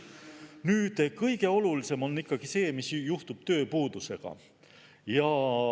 Nüüd, kõige olulisem on ikkagi see, mis juhtub tööpuudusega.